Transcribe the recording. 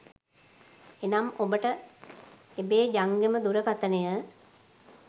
එනම් ඔබට එබේ ජංගම දුරකථනය